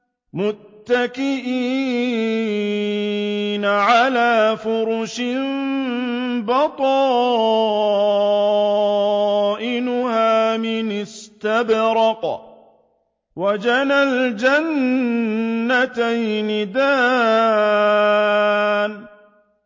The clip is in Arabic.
مُتَّكِئِينَ عَلَىٰ فُرُشٍ بَطَائِنُهَا مِنْ إِسْتَبْرَقٍ ۚ وَجَنَى الْجَنَّتَيْنِ دَانٍ